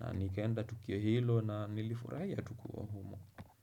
na nikaenda Tukio hilo na nilifurahia tu kuwa humo.